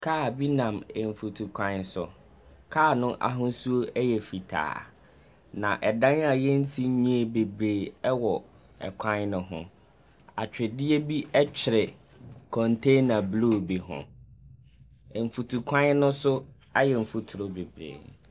Kaa bi nam mfutukwan so, kaa no ahosuo yɛ fitaa, na dan a wɔnsi nwieeɛ bebree wɔ kwan no ho. Atwedeɛ bi twere contaner blue bi ho. Mfutukwan no so ayɛ mfuturo bebree.